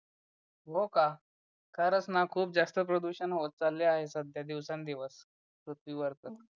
हो का खरंच ना खूप जास्त प्रदूषण होत चाललं आहे सध्या दिवसांनी दिवस पृथ्वीवरच